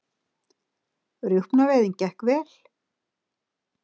Rjúpnaveiðin gekk vel